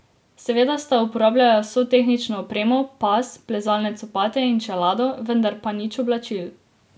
Seveda sta uporabljala vso tehnično opremo, pas, plezalne copate in čelado, vendar pa nič oblačil.